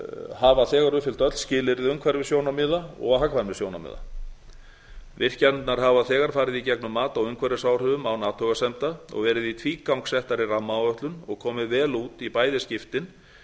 hafa þegar uppfyllt öll skilyrði umhverfissjónarmiða og hagkvæmnissjónarmiða virkjanirnar hafa þegar farið í gegnum mat á umhverfisáhrifum án athugasemda og verið í tvígang settar í rammaáætlun og komið vel út í bæði skiptin